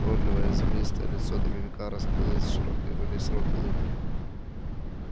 уродливое землистое лицо домовика расплылось в широкой во весь рот улыбке